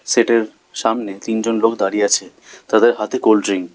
সেটের সামনে তিনজন লোক দাঁড়িয়ে আছে তাদের হাতে কোল্ডড্রিংক ।